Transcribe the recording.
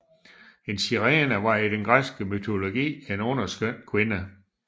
En sirene var i den græske mytologi en underskøn kvinde